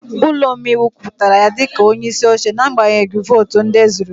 Ụlọ omeiwu kwupụtara ya dị ka onyeisi oche n'agbanyeghị votu ndị ezuru